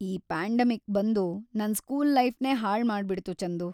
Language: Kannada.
ಈ ಪ್ಯಾಂಡೆಮಿಕ್‌ ಬಂದು ನನ್ ಸ್ಕೂಲ್‌ ಲೈಫ್‌ನೇ ಹಾಳು ಮಾಡ್ಬಿಡ್ತು, ಚಂದು.